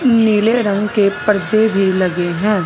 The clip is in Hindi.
नीले रंग के पर्दे भी लगे हैं।